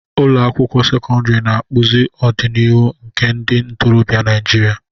Ụlọ akwụkwọ sekọndrị na-akpụzi ọdịnihu nke ndị ntorobịa Naijiria.